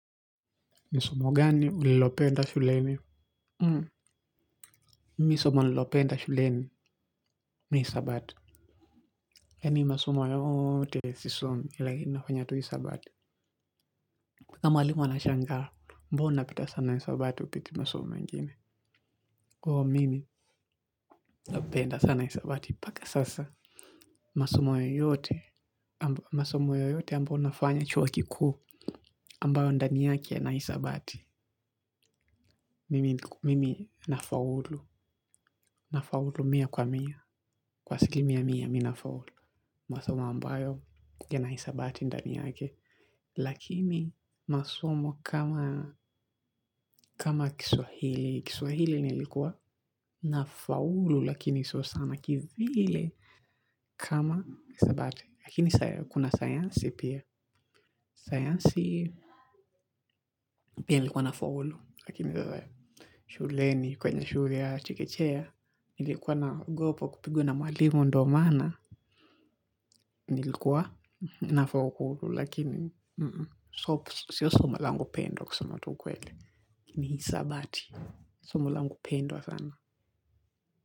Ni somo gani ulilopenda shuleni? Hmm, mimi somo nililopenda shuleni. Ni hisabati. Yani masomo yote sisomi lakini nafanya tu hisabati. Na mwalimu anashangara, mbona pita sana hisabati hupiti masomo mengine. Oo, mimi napenda sana hisabati, paka sasa. Masomo yoyote ambayo nafanya chuo kikuu ambayo ndani yake yana hisabati mimi nafaulu, nafaulu mia kwa mia. Kwa siki mia mia mi na faulu. Masomo ambayo yana hisabati ndani yake lakimi masomo kama kama kiswahili Kiswahili nilikuwa na faulu. Lakini sio sana kivile. Kama hisabati lakini kuna sayansi pia. Sayansi pia nilikuwa na faulu. Lakini shuleni kwenye shule ya chekechea nilikuwa naogopa kupigwa na mwalimu. Ndo maana nilikuwa nafokuru lakini sio somo lango pendwa kusema tu ukweli ni hisabati somo langu pendwa sana.